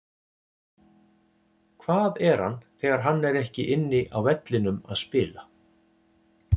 Hvað er hann þegar hann er ekki inni á vellinum að spila?